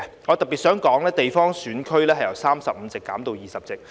我特別想說，地方選區由35席，減至20席。